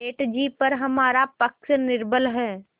सेठ जीपर हमारा पक्ष निर्बल है